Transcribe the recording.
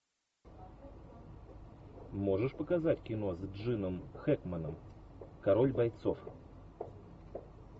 можешь показать кино с джином хэкменом король бойцов